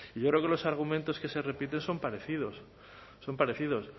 yo creo que los argumentos que se repiten son parecidos son parecidos